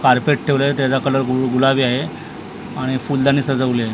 Carpet ठेवले त्याचा colour गुलाबी आहे आणि फुलदाणी साजवलीये.